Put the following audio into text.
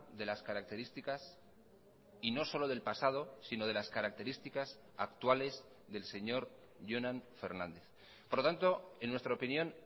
de las características y no solo del pasado sino de las características actuales del señor jonan fernández por lo tanto en nuestra opinión